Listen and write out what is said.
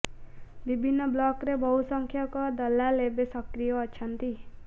ବିଭିନ୍ନ ବ୍ଲକରେ ବହୁ ସଂଖ୍ୟକ ଦଲାଲ ଏବେ ସକ୍ରିୟ ଅଛନ୍ତି